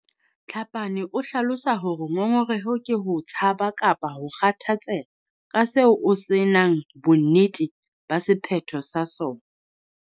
Tlhapane o hlalosa hore ngongoreho ke ho tshaba kapa ho kgathatseha ka seo o se nang bonnete ba sephetho sa sona.